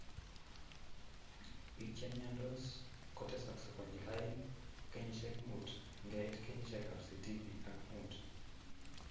Biik chemiandos kotesaskei konyil aeng kenyishek muut ngeit kenyishekab sitini ak mut